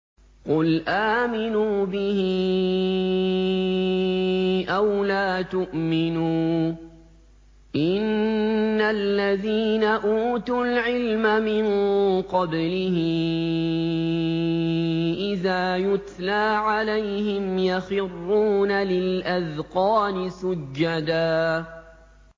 قُلْ آمِنُوا بِهِ أَوْ لَا تُؤْمِنُوا ۚ إِنَّ الَّذِينَ أُوتُوا الْعِلْمَ مِن قَبْلِهِ إِذَا يُتْلَىٰ عَلَيْهِمْ يَخِرُّونَ لِلْأَذْقَانِ سُجَّدًا